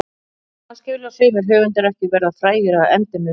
Kannski vilja sumir höfundar ekki verða frægir að endemum.